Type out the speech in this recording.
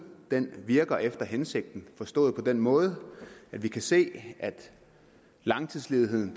virker efter hensigten forstået på den måde at vi kan se at langtidsledigheden